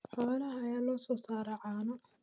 Xoolaha ayaa loo soo saaraa caano.